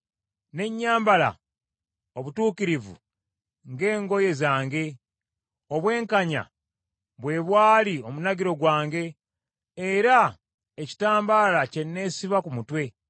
Ne nnyambala obutuukirivu ng’engoye zange, obwenkanya bwe bwali omunagiro gwange era ekitambala kye neesiba ku mutwe.